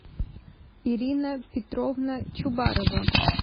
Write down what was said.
ирина петровна чубарова